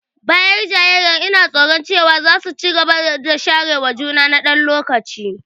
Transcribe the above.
Bayan jayayyar, ina tsoro cewa za su ci gaba da share juna na ɗan lokaci.